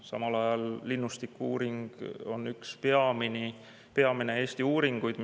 Samal ajal linnustiku-uuring on üks peamisi uuringuid Eestis.